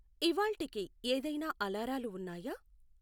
ఇవ్వాళ్టికి ఏదైనా అలారాలు వున్నాయా